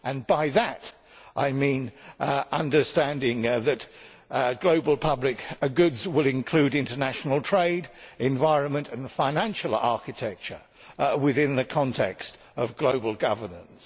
By that I mean understanding that global public goods will include international trade, environmental and financial architecture within the context of global governance.